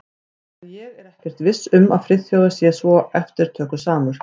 En ég er ekkert viss um að Friðþjófur sé svo eftirtökusamur.